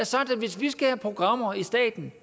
sagt at hvis vi skal have programmer i staten